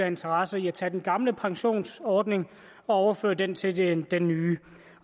interesse i at tage den gamle pensionsordning og overføre den til den nye